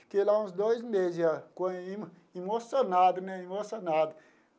Fiquei lá uns dois meses já com, emocionado né, emocionado.